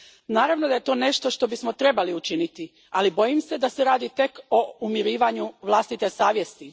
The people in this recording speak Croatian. Naravno da je to nešto što bismo trebali učiniti, ali bojim se da se radi tek o umirivanju vlastite savjesti.